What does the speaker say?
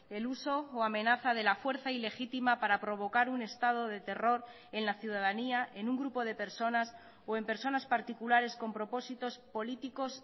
el uso o amenaza de la fuerza ilegítima para provocar un estado de terror en la ciudadanía en un grupo de personas o en personas particulares con propósitos políticos